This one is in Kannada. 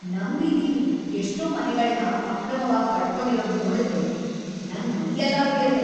ನಮ್ ಬೀದಿಲಿ ಎಷ್ಟೋ ಮನೆಗಳ್ನ ಅಕ್ರಮವಾಗ್ ಕಟ್ಕೊಂಡಿರೋದ್‌ ನೋಡಿದ್ರೆ ನಂಗ್ ಮೈಯೆಲ್ಲ ಉರ್ಯುತ್ತೆ.